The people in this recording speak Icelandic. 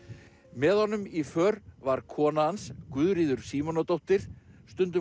með honum í för var kona hans Guðríður Símonardóttir stundum